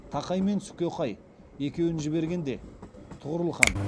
тақай мен сүкеқай екеуінжібергенде тұғырыл хан